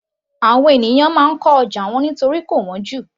Àwọn ènìyàn máa ń kọ́ ọjà tiwọn nítorí kò wọ́n jù